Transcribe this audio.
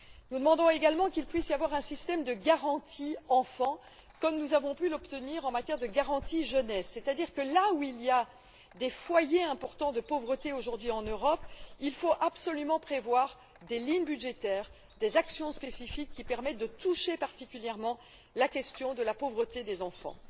Nous demandons également qu'il puisse y avoir un système de garantie enfant comme nous avons pu l'obtenir en matière de garantie jeunesse, c'est à dire que, là où il y a des foyers importants de pauvreté aujourd'hui en Europe, il faut absolument prévoir des lignes budgétaires et des actions spécifiques qui permettent de lutter particulièrement contre la pauvreté des enfants.